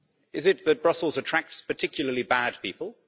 Is it that Brussels attracts particularly bad people?